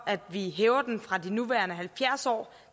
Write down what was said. at vi hæver den fra de nuværende halvfjerds år